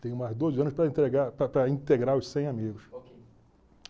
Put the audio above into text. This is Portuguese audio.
Tenho mais doze anos para entregar integrar os cem amigos.